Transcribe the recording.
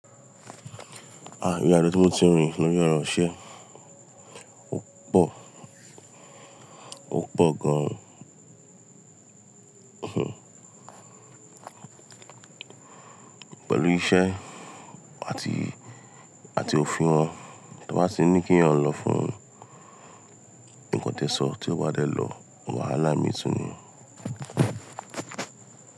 Ìrìn àjò tí mo ti rin lórí ọ̀rọ̀ iṣẹ́, ó pọ̀, ó pọ̀ gan-an. Pẹ̀lú iṣẹ́ àti, àti òfin wọn, tí wọ́n bá tì ní kí ẹ̀yàn lọ fún nǹkan tí ẹ sọ tí kó bá dẹ́ lọ, wàhálà mii tún nì.